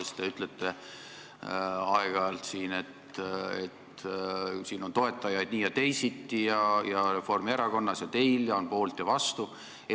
Sest te ütlete aeg-ajalt siin, et siin on toetajaid nii ja teisiti, Reformierakonnas ja teil, on ka poolt ja vastu.